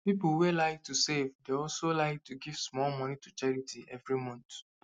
people wey like to save dey also like to give small money to charity every month